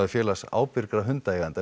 félags ábyrgra hundaeigenda